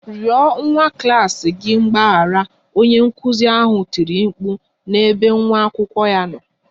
Rịọ nwa klas gị mgbaghara! Onye nkụzi ahụ tiri mkpu n'ebe nwa akwụkwọ ya nọ